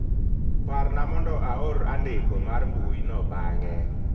Parna mondo aor andiko mar mbui no bang'e